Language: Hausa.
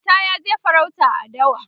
Auta yaje farauta a dawa